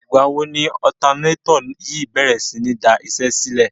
Ìgbà wo ni ọ̀tanátọ̀ yìí bèrè sí ní daṣẹ́sílẹ̀?